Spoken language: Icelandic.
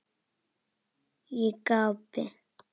Ég gapi.